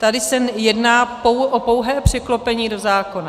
Tady se jedná o pouhé překlopení do zákona.